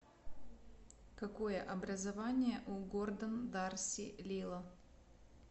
какое образование у гордон дарси лило